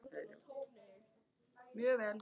Sín vegna.